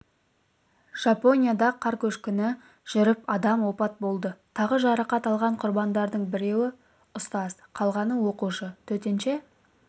жапонияда қар көшкіні жүріп адам опат болды тағы жарақат алған құрбандардың біреуі ұстаз қалғаны оқушы төтенше